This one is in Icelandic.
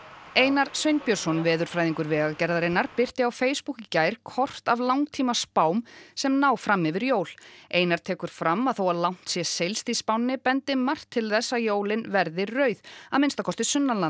Einar Sveinbjörnsson veðurfræðingur Vegagerðarinnar birti á Facebook í gær kort af langtímaspám sem ná fram yfir jól einar tekur fram að þó að langt sé seilst í spánni bendi margt til þess að jólin verði rauð að minnsta kosti